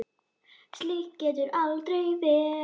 Slíkt getur aldrei endað vel.